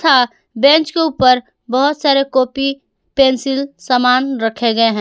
तथा बेंच के ऊपर बहुत सारे कॉपी पेंसिल सामान रखे गए हैं।